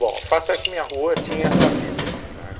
Bom, o fato é que minha rua tinha essa vida, tá?